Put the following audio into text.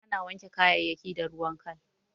Ana wanke kayayayyaki da ruwan kal.